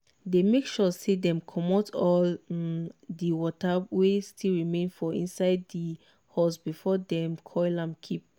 dey make sure say dem commot all um di water wey still remain for inside di hose before dem coil am keep.